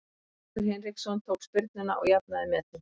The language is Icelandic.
Þórhallur Hinriksson tók spyrnuna og jafnaði metin.